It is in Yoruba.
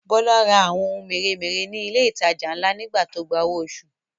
Bọ́lá ra ohun mèremère ní ilé ìtajà ńlá nígbà tó gba owó oṣù